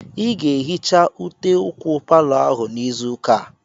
Ị ga-ehicha ute ụkwụ palọ ahụ n'izu ụka a!